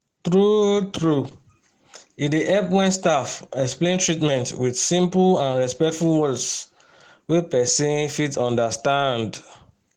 true-true e dey help when staff explain treatment with simple and respectful words wey person fit understand.